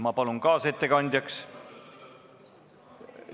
Ma palun kaasettekandjaks ...